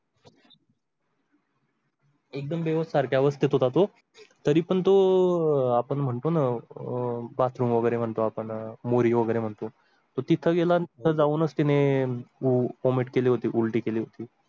एकदम बेहोश सारख्या अवस्थेत होता तो. तरी पण तो अह आपण म्हणतो ना अं Bathroom वगैरे म्हणतो आपण, मोरी वगैरे म्हणतो तो तिथं गेला तिथं जाऊनस त्याने vomit उलटी केली होती.